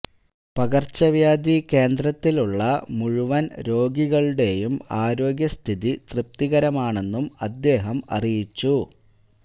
പകര്ച്ചവ്യാധി കേന്ദ്രത്തിലുള്ള മുഴുവന് രോഗികളുടെയും ആരോഗ്യ സ്ഥിതി തൃപ്തികരമാണെന്നും അദ്ദേഹം അറിയിച്ചു